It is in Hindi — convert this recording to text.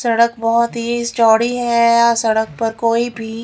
सड़क बहोत ही चौड़ी है सड़क पर कोई भी--